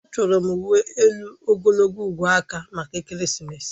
Achọrọ m uwe elu ogologo ugwu aka maka ekeresimesi